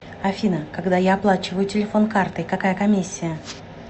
афина когда я оплачиваю телефон картой какая комиссия